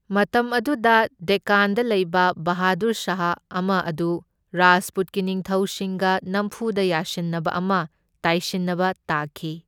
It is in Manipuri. ꯃꯇꯝ ꯑꯗꯨꯗ ꯗꯦꯛꯀꯥꯟꯗ ꯂꯩꯕ ꯕꯍꯥꯗꯨꯔ ꯁꯥꯍ ꯑꯃ ꯑꯗꯨ ꯔꯥꯖꯄꯨꯠꯀꯤ ꯅꯤꯡꯊꯧꯁꯤꯡꯒ ꯅꯝꯐꯨꯗ ꯌꯥꯁꯤꯟꯅꯕ ꯑꯃ ꯇꯥꯏꯁꯤꯟꯅꯕ ꯇꯥꯈꯤ꯫